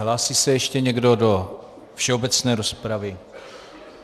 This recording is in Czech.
Hlásí se ještě někdo do všeobecné rozpravy?